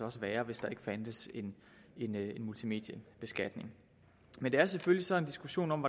også være hvis der ikke fandtes en multimediebeskatning men det er selvfølgelig så en diskussion om